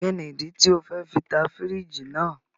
Kini idi ti o fẹ ta firiji naa?